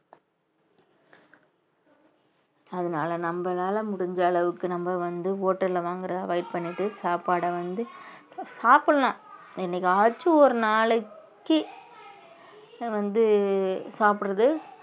அதனால நம்மளால முடிஞ்ச அளவுக்கு நம்ம வந்து hotel ல வாங்குறதை avoid பண்ணிட்டு சாப்பாட வந்து சாப்பிடலாம் என்னைக்காச்சும் ஒரு நாளைக்கு வந்து சாப்பிடறது